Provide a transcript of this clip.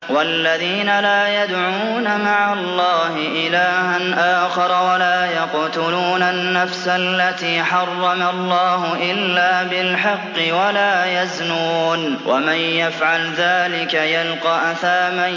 وَالَّذِينَ لَا يَدْعُونَ مَعَ اللَّهِ إِلَٰهًا آخَرَ وَلَا يَقْتُلُونَ النَّفْسَ الَّتِي حَرَّمَ اللَّهُ إِلَّا بِالْحَقِّ وَلَا يَزْنُونَ ۚ وَمَن يَفْعَلْ ذَٰلِكَ يَلْقَ أَثَامًا